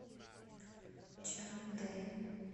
чандэ